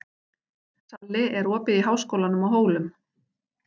Salli, er opið í Háskólanum á Hólum?